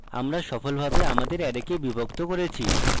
আমরা সফলভাবে আমাদের অ্যারেকে বিভক্ত করেছি